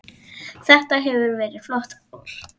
Þetta hefur verið flott ár.